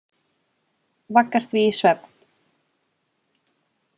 Vaggar því í svefn.